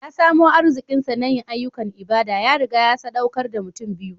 Ya samu arziƙinsa na yin ayyukan ibada; ya riga ya saɗaukar da mutum biyu.